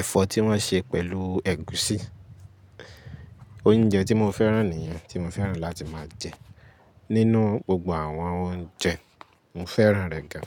ẹ̀fọ́ tí wọ́n ṣe pẹ̀lú ẹ̀gúsí. Oúnjẹ tí mo fẹ́ràn nìyẹn tí mo fẹ́ràn láti máa jẹ. Nínú gbogbo àwọn oúnjẹ, mo fẹ́ràn rẹ̀ gan.